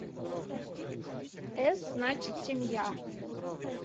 эс значит семья